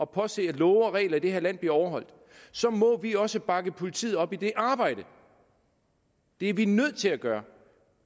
påse at love og regler i det her land bliver overholdt og så må vi også bakke politiet op i det arbejde det er vi nødt til at gøre